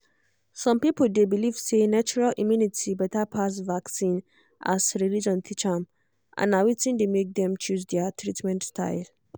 some people dey believe say natural immunity better pass vaccine as religion teach am and na wetin dey make dem choose their treatment style.